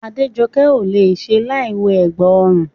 Adéjokẹ́ kò le è ṣe láìwọ ẹ̀gbà ọrùn